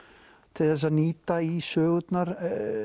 til að nýta í sögurnar